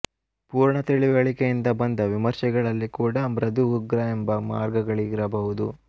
ಪೂರ್ಣ ತಿಳಿವಳಿಕೆಯಿಂದ ಬಂದ ವಿಮರ್ಶೆಗಳಲ್ಲಿ ಕೂಡ ಮೃದುಉಗ್ರ ಎಂಬ ಮಾರ್ಗಗಳಿರಬಹುದು